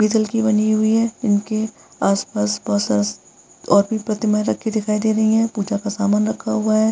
पीतल की बनी हुई है। इनके आसपास बहुत सारा और भी प्रतिमायें रखी दिखाई दे रहीं हैं। पूजा का सामान रखा हुआ है।